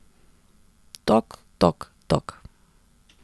Tok, tok, tok ...